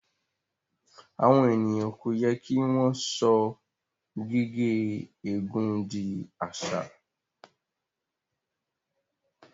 Àwon ènìyàn kò yẹ kí wọn so gigé ègún dì àṣà